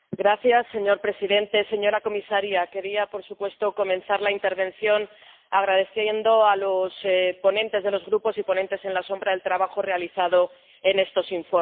Señor presidente, señora comisaria, quería, por supuesto, comenzar la intervención agradeciendo a los ponentes de los grupos y a los ponentes alternativos el trabajo realizado en estos informes.